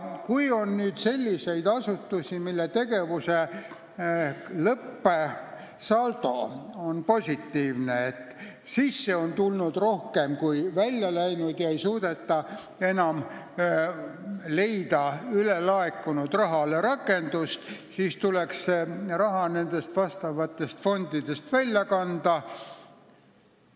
Kui on selliseid asutusi, mille tegevuse lõppsaldo on positiivne, st sisse on tulnud rohkem raha, kui on välja läinud, ja ülelaekunud rahale ei ole enam rakendust, siis tuleks see raha nendest fondidest välja võtta.